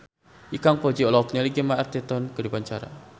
Ikang Fawzi olohok ningali Gemma Arterton keur diwawancara